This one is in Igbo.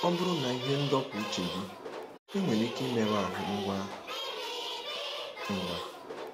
Ọ bụrụ na ihe ndọpụ uche gị, ị nwere ike imerụ ahụ ngwa ngwa.